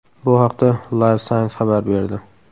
Bu haqda Live Science xabar berdi .